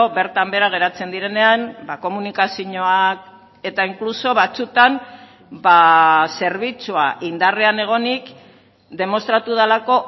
bertan behera geratzen direnean komunikazioak eta inkluso batzuetan zerbitzua indarrean egonik demostratu delako